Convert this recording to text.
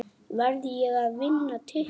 Verð ég að vinna titla?